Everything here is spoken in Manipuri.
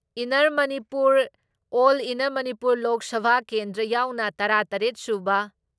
ꯏꯟꯅꯔ ꯃꯅꯤꯄꯨꯔ ꯑꯣꯜ ꯏꯟꯅꯔ ꯃꯅꯤꯄꯨꯔ ꯂꯣꯛ ꯁꯚꯥ ꯀꯦꯟꯗ꯭ꯔ ꯌꯥꯎꯅ ꯇꯔꯥ ꯇꯔꯦꯠ ꯁꯨꯕ